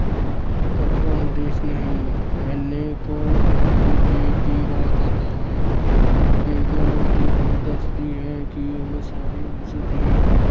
ਘਬਰਾਉਂਦੇ ਨਹੀਂ। ਇੰਨੇ ਨੂੰ ਔਰੰਗਜ਼ੇਬ ਵੀ ਆ ਜਾਂਦਾ ਹੈ। ਬੇਗਮ ਉਦੈਪੁਰੀ ਦੱਸਦੀ ਹੈ ਕਿ ਇਹ ਸਾਰੀ ਉਸ ਦੀ